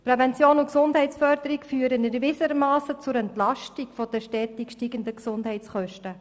Prävention und Gesundheitsförderung führen erwiesenermassen zur Entlastung der stetig ansteigenden Gesundheitskosten.